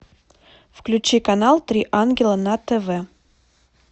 включи канал три ангела на тв